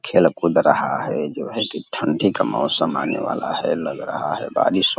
खेल-कूद रहा है जो है की ठंडी का मौसम आने वाला है लग रहा है बारिश --